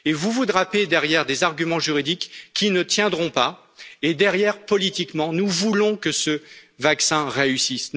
Vous vous drapez derrière des arguments juridiques qui ne tiendront pas et, derrière, politiquement, nous voulons que ce vaccin réussisse.